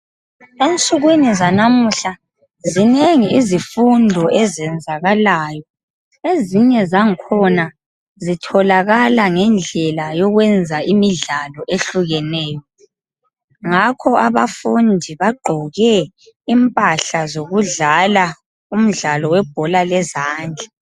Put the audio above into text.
Ensukwin zanamuhla zinengi izifundo ezenzakalayo ezinye zangikhona zitholakala ngendlela yookwenza imidlalo ehlukeneyo Ngakho abafundi bagqoke imphala zokudlala umdlalo webhola lezandlaa wezandla